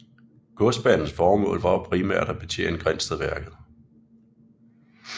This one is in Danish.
Godsbanens formål var primært at betjene Grindstedværket